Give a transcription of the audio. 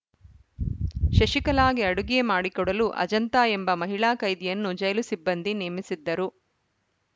ಶಶಿಕಲಾಗೆ ಅಡುಗೆ ಮಾಡಿಕೊಡಲು ಅಜಂತಾ ಎಂಬ ಮಹಿಳಾ ಕೈದಿಯನ್ನು ಜೈಲು ಸಿಬ್ಬಂದಿ ನೇಮಿಸಿದ್ದರು